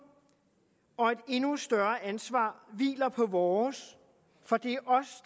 og et endnu større ansvar hviler på vores for det